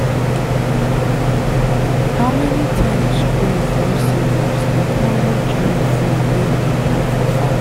how many times rain fall serious like how much rain fall when you dey plan for farm.